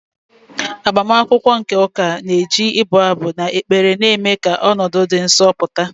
IAgbamakwụkwọ nke ụka na-eji ibu abụ na ekpere na-eme ka ọnọdụ dị nsọ pụta.